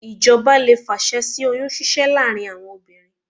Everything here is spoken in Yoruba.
Ìjọba lè fàṣẹ sí oyún ṣíṣẹ́ láàárín àwọn obìnrin